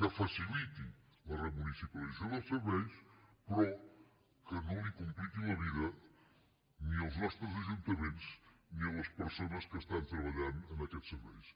que faciliti la remunicipalització dels serveis però que no li compliqui la vida ni als nostres ajuntaments ni a les persones que estan treballant en aquests serveis